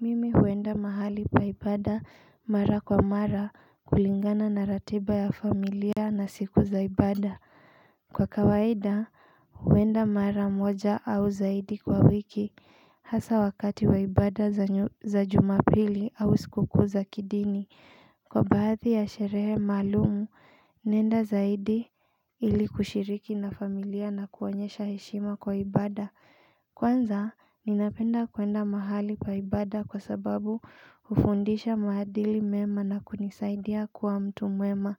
Mimi huenda mahali pa ibada mara kwa mara, kulingana na ratiba ya familia na siku za ibada. Kwa kawaida huenda mara moja au zaidi kwa wiki Hasa wakati wa ibada za jumapili, au siku kuu za kidini. Kwa baadhi ya sherehe maalum naenda zaidi ili kushiriki na familia na kuonyesha heshima kwa ibada Kwanza, ninapenda kuenda mahali pa ibada kwa sababu hufundisha maadili mema na kunisaidia kuwa mtu mwema.